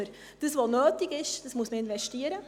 Was nötig ist, muss man investieren.